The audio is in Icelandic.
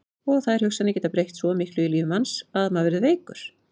Og þær hugsanir geta breytt svo miklu í lífi manns að maður verður veikur.